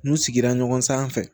N'u sigira ɲɔgɔn sanfɛ